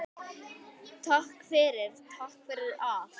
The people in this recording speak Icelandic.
Takk fyrir, takk fyrir allt.